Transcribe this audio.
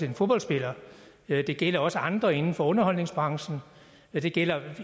en fodboldspiller det gælder også andre inden for underholdningsbranchen det gælder